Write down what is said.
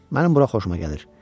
Mənim bura xoşuma gəlir.